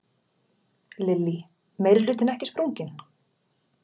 Lillý: Meirihlutinn ekki sprunginn?